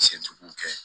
Sentugu kɛ